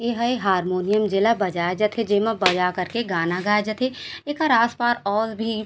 इहे हारमोनियम जेला बजाए जाथे जेमा बजा करके गाना गाए जाथे एकर आसपास और भी --